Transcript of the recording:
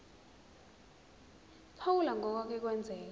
phawula ngokwake kwenzeka